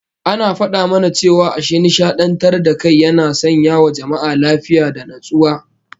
An fada mana cewa ashin nishadantar da kai yana sanyawa jama'a lafiya da natsuwa